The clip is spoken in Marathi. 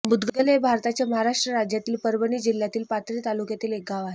मुदगल हे भारताच्या महाराष्ट्र राज्यातील परभणी जिल्ह्यातील पाथरी तालुक्यातील एक गाव आहे